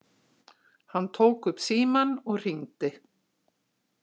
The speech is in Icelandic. Hann tók upp símann og hringdi.